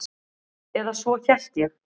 Eða svo hélt ég.